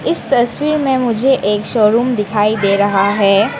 इस तस्वीर में मुझे एक शोरूम दिखाई दे रहा है।